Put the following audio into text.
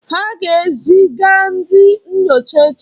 Ha ga-ezi ga ndị nyocha echi.